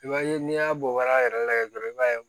I b'a ye n'i y'a bɔ hal'a yɛrɛ lajɛ dɔrɔn i b'a ye